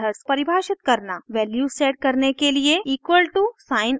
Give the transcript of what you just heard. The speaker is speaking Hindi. वैल्यूज सेट करने के लिए = साइन उपयोग करके मेथड परिभाषित करना